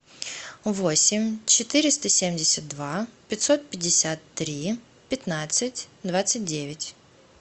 восемь четыреста семьдесят два пятьсот пятьдесят три пятнадцать двадцать девять